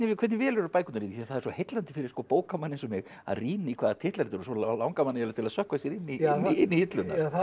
hvernig velurðu bækurnar það er svo heillandi fyrir bókamann eins og mig að rýna í hvaða titlar þetta eru og svo langar mann að sökkva sér inn í hilluna það er